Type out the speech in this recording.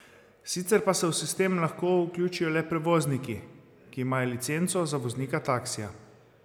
Sicer pa se v sistem lahko vključijo le prevozniki, ki imajo licenco za voznika taksija.